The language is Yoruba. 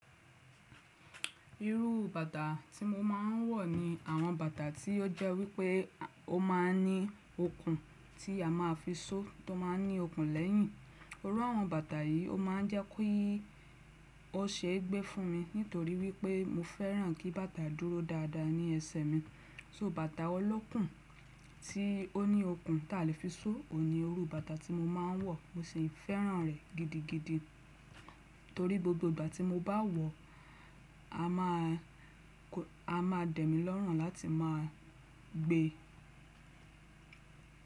Irú bàtà tí mo máà ń wọ̀ ni àwọn bàtà tí ó jẹ́ wípé ó máa ń ní okùn tí a máa fi só tó máa ń ní okùn lẹ́yìn. Irú àwọn bàtà yìí ó máà ń jẹ́ kó yí ó ṣe é gbé fún mi nítorí wípé mo fẹ́ràn kí bàtà dúró dáadáa ní ẹsẹ̀ mi. So bàtà olokùn tí ó ní okùn tá lè fi só ò ní irú bàtà tí mo máà ń wọ̀ mo sì fẹ́ràn rẹ̀ gidigidi torí gbogbo ìgbà tí mo bá wọ̀ a máa dẹ̀mí lọ́rùn láti máa gbe.